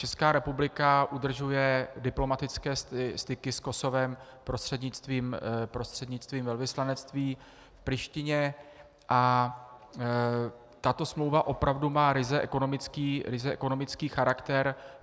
Česká republika udržuje diplomatické styky s Kosovem prostřednictvím velvyslanectví v Prištině a tato smlouva opravdu má ryze ekonomický charakter.